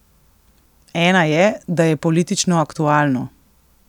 Ena je, da je politično aktualno.